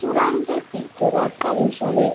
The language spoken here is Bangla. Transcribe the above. চূড়ান্ত তীর্থযাত্রা হিসাবে